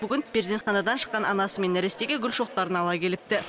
бүгін перзентханадан шыққан анасы мен нәрестеге гүл шоқтарын ала келіпті